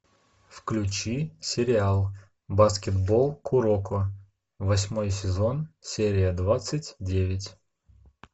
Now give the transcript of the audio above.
включи сериал баскетбол куроко восьмой сезон серия двадцать девять